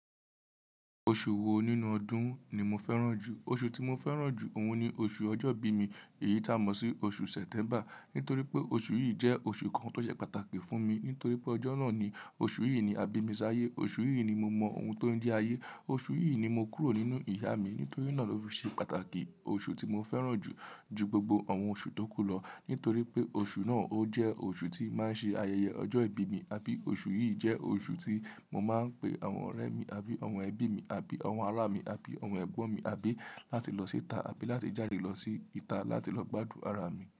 Oṣù wo nínú ọdún ni mo fẹ́ràn jù? Oṣù tí mo fẹ́ràn jù òun ni oṣù ọjọ́ ìbí mi, èyí tá mọ̀ sí oṣù September. Nítorí pé oṣù yìí jẹ́ oṣù kan tó ṣe pàtàkì fún mi. Nítorí pé ọjọ́ náà ni oṣù yìí ni a bí mi sí ayé. Oṣù yìí ni mo mọ ohun tó ń di ayé. Oṣù yìí ni mo kúrò nínú ìyá mi. Nítorí náà ló fi ṣe pàtàkì. Oṣù tí mo fẹ́ràn jù ju gbogbo àwọn oṣù tó kù lọ. Nítorí pé oṣù náà ó jẹ́ oṣù tí máa ń ṣe ayẹyẹ ọjọ́ ìbí mi. Abí oṣù yìí jẹ́ oṣù tí mo máa ń pe àwọn ọ̀rẹ́ mi, abí àwọn ẹbí mi, abí àwọn ara mi, abí àwọn ẹ̀gbọ́n mi, abí láti lọ síta, abí láti jáde lọ síta láti lọ gbádùn ara mi.